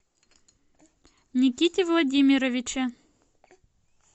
никите владимировиче